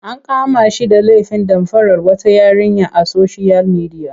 An kama shi da lefin damfarar wata yarinya a soshiyal midiya.